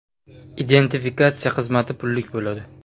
Identifikatsiya xizmati pullik bo‘ladi.